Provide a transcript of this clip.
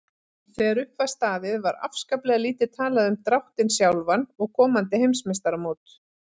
Þegar upp var staðið var afskaplega lítið talað um dráttinn sjálfan og komandi heimsmeistaramót.